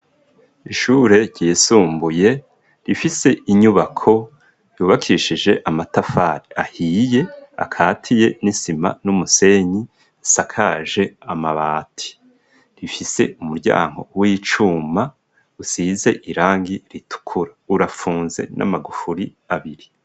Ishure ryisumbuye rifise inyubako yubakishije amatafari ahiye akatiye n'isima n'umusenyi asakaje amabati rifise umuryango w'icuma usize irangi ritukura urapfunze n'amagufuri abiri.